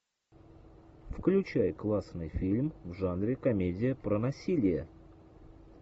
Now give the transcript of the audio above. включай классный фильм в жанре комедия про насилие